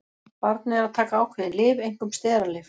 Barnið er að taka ákveðin lyf, einkum steralyf.